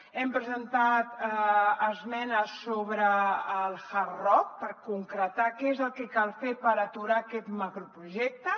hem presentat esmenes sobre el hard rock per concretar què és el que cal fer per aturar aquest macroprojecte